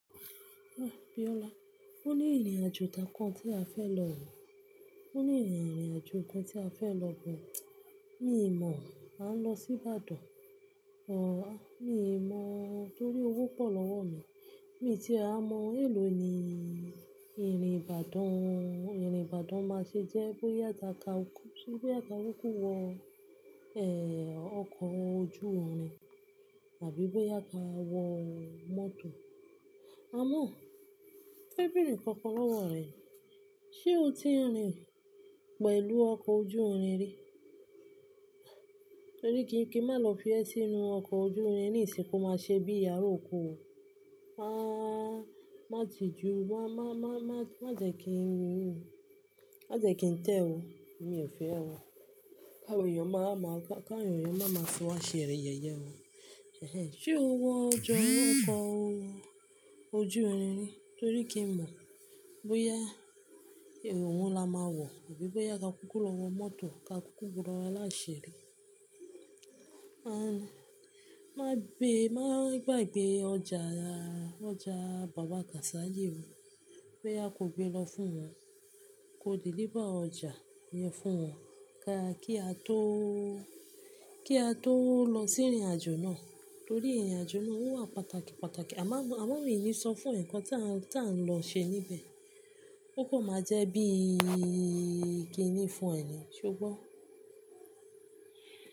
Ah Biola, ó ní ìrìnàjò kan tí a fẹ́ lọ wò. Ó ní ìrìnàjò kan tí a fẹ́ lọ but Mi ò mọ̀, máa ń lọ sí Ibadan, òróró, mi ò mọ̀ torí owó pọ̀ lọ́wọ́ mi. Èmi tí à ń mọ èlò ni ìrìn Ìbàdàn, ìrìn Ìbàdàn máa ṣe jẹ́ bóyá dáka kúrú, bóyá ka kúkú wọ, ọkọ̀ ojú irin àbí bóyá ka wọ mọ́tò. Àmo, mofe bẹ́rẹ́ nkankan lọ́wọ́ rẹ. Ṣé o ti rìn pẹ̀lú ọkọ̀ ojú irin rí? Torí kí n kí má lọ fi ẹ sínú ọkọ̀ ojú irin ní ìsìnkú máa ṣe bí àra òko o. Wáá, má ti ju, má jẹ kí n wú o. Má jẹ kí n tẹ o. Mi ò fẹ́ o. Ki awon ẹ̀yàn máa ma, fi wá ṣe yẹ̀yẹ́ o. Ṣé o wọ ọkọ̀ ojú irin rí? Torí kí n mọ̀ bóyá ohun la máa wọ̀ àbí bóyá ka kúkú lọ wọ mọ́tò ka kúkú gbona láṣẹ rí. Ah, má gbé, má gba gbé ọjà, ọjà bàbá Gásálì o. Bóyá ko gbé lọ fún wọn, ko deliver ọjà yẹn fún wọn ká kí a tó, kí a tó lọ sí ìrìnàjò náà. Torí ìrìnàjò náà ó wà pàtàkì, pàtàkì. A máa mi, a mo mo ní sọ fún e ǹkan tí a ń lọ ṣe níbẹ̀. Ó kò máa jẹ́ bí i kiní fún ẹ ní, ṣe o gbọ́?